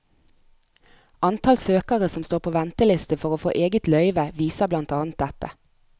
Antall søkere som står på venteliste for å få eget løyve viser blant annet dette.